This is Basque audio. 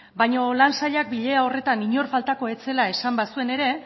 baino lan sailak bilera horretan inor faltako ez zela esan bazuen ere